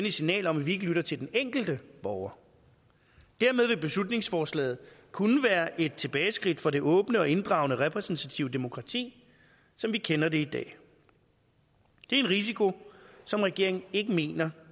et signal om at vi ikke lytter til den enkelte borger dermed vil beslutningsforslaget kunne være et tilbageskridt for det åbne og inddragende repræsentative demokrati som vi kender det i dag det er en risiko som regeringen ikke mener